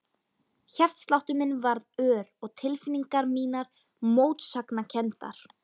Hjartsláttur minn varð ör og tilfinningar mínar mótsagnakenndar.